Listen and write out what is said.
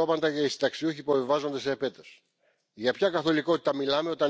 Il doit être non discriminant, c'est à dire qu'il doit compenser des situations où il y a des écarts de pension, comme par